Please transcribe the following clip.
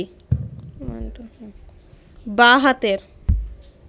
বাঁ হাতের